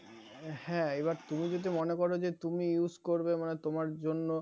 হ্যাঁ এবার তুমি যদি মনে করো যে তুমি use করবে তোমার জন্য